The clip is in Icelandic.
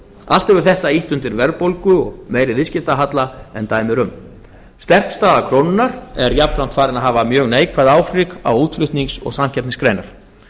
hefur þetta ýtt undir verðbólgu og meiri viðskiptahalla en dæmi eru um sterk staða krónunnar er jafnframt farin að hafa mjög neikvæð áhrif á útflutnings og samkeppnisgreinar